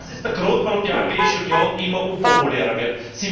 Das ist der Grund, warum die Europäische Union immer unpopulärer wird.